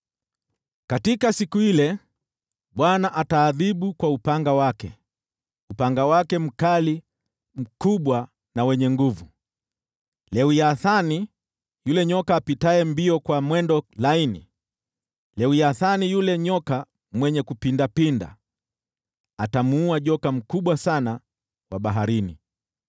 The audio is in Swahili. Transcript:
Katika siku ile, Bwana ataadhibu kwa upanga wake, upanga wake mkali, mkubwa na wenye nguvu, ataadhibu Lewiathani yule nyoka apitaye kwa mwendo laini, Lewiathani yule nyoka mwenye kujipinda; atamuua joka huyo mkubwa sana wa baharini.